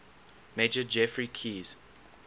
major geoffrey keyes